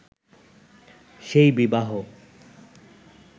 সেই বিবাহ